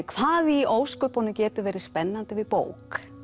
hvað í ósköpunum getur verið spennandi við bók